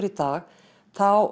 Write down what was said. í dag þá